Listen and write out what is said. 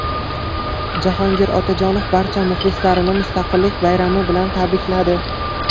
Jahongir Otajonov barcha muxlislarini Mustaqillik bayrami bilan tabrikladi.